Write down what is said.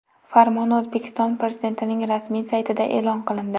Farmon O‘zbekiston Prezidentining rasmiy saytida e’lon qilindi .